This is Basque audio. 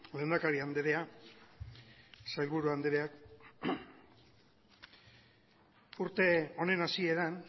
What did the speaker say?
lehendakari andrea sailburu andreak urte honen hasieran